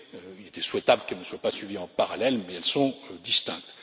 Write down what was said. Il était souhaitable qu'elles ne soient pas suivies en parallèle, mais elles sont distinctes.